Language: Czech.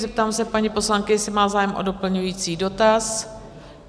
Zeptám se paní poslankyně, jestli má zájem o doplňující dotaz?